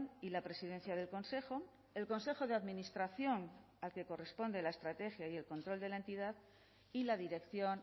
y la presidencia del consejo el consejo de administración al que corresponde la estrategia y el control de la entidad y la dirección